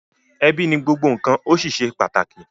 Ebi ni gbogbo nkan o sí ṣe pàtàkì.